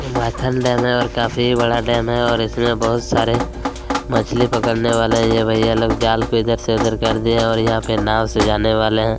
ये माथल डैम है और काफी बड़ा डैम है और इसमें बहुत सारे मछली पकड़ने वाले ये भईया लोग जाल को इधर से उधर कर दिए है और यहाँ पे नांव से जाने वाले हैं।